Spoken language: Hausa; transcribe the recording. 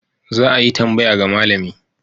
Za a yi tambaya ga malami.